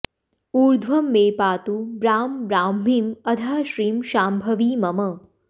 ऊर्ध्वं मे पातु ब्रां ब्राह्मीं अधः श्रीं शाम्भवी मम